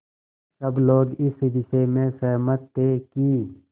सब लोग इस विषय में सहमत थे कि